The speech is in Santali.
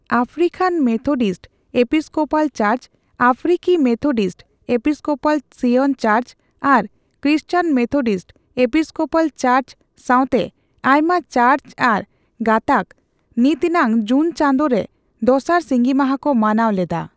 African Methodist Episcopal church, African Methodist Episcopal Zion church ᱟᱨ ᱠᱨᱤᱥᱪᱭᱚᱱ ᱢᱮᱛᱷᱳᱰᱤᱥᱴ ᱮᱯᱤᱥᱠᱳᱯᱚᱞ ᱪᱟᱨᱪ ᱥᱟᱣᱛᱮ ᱟᱭᱢᱟ ᱪᱟᱨᱪ ᱟᱨ ᱜᱟᱛᱟᱠ, ᱱᱤᱛᱱᱟᱝ ᱡᱩᱱ ᱪᱟᱸᱫᱳ ᱨᱮ ᱫᱚᱥᱟᱨ ᱥᱤᱸᱜᱤ ᱢᱟᱦᱟ ᱠᱚ ᱢᱟᱱᱟᱣ ᱞᱮᱫᱟ ᱾